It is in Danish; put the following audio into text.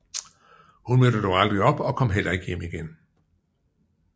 Hun mødte dog aldrig op og kom heller ikke hjem igen